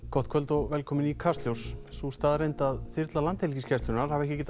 gott kvöld og velkomin í Kastljós sú staðreynd að þyrla Landhelgisgæslunnar hafi ekki getað